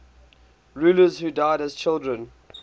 rulers who died as children